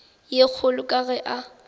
ye kgolo ka ge a